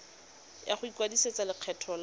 ya go ikwadisetsa lekgetho la